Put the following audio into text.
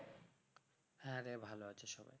হ্যাঁ রে, ভালো আছি সবাই।